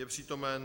Je přítomen.